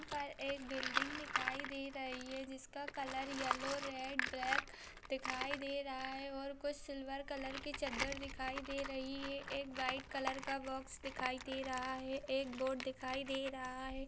यहाँ पर एक बिल्डिंग दिखाई दे रही है जिस का कलर येलो रेड ब्लेक दिखाई दे रहा है और कुछ सिल्वर कलर की चद्दर दिखाई दे रही है। एक वाईट कलर का बॉक्स दिखाई दे रहा है। एक बोर्ड दिखाई दे रहा है।